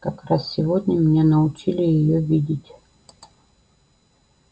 как раз сегодня меня научили её видеть